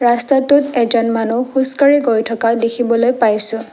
ৰাস্তাটোত এজন মানুহ খোজকাঢ়ি গৈ থকা দেখিবলৈ পাইছোঁ।